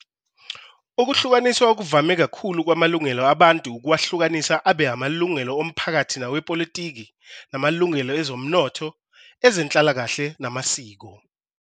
Ukuhlukaniswa okuvame kakhulu kwamalungelo abantu ukuwahlukanisa abe amalungelo omphakathi nawepolitiki, namalungelo ezomnotho, ezenhlalakahle namasiko.